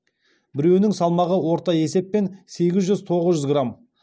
біреуінің салмағы орта есеппен сегіз жүз тоғыз жүз грамм